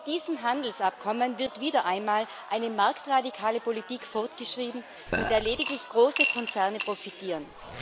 Mit diesem Handelsabkommen wird wieder einmal eine marktradikale Politik fortgeschrieben, von der lediglich große Konzerne profitieren.